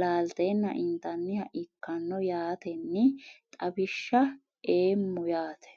laalteena intaniha ikano yaateni xawishsha eemo yaate.